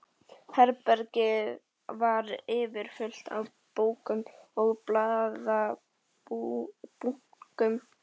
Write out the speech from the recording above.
Herbergið var yfirfullt af bókum og blaðabunkum.